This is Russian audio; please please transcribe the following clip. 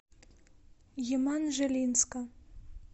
еманжелинска